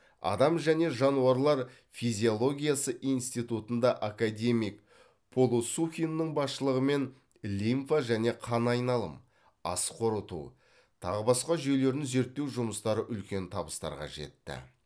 адам және жануарлар физиологиясы инсститутында академик полосухиннің басшылығымен лимфа және қан айналым ас қорыту тағы басқа жүйелерін зерттеу жұмыстары үлкен табыстарға жетті